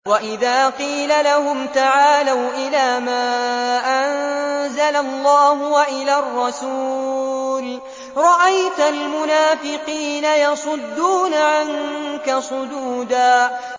وَإِذَا قِيلَ لَهُمْ تَعَالَوْا إِلَىٰ مَا أَنزَلَ اللَّهُ وَإِلَى الرَّسُولِ رَأَيْتَ الْمُنَافِقِينَ يَصُدُّونَ عَنكَ صُدُودًا